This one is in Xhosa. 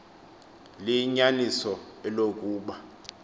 liyinyaniso eloku ba